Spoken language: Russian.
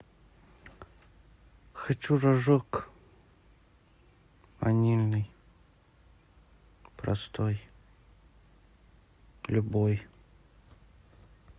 хочу рожок ванильный простой любой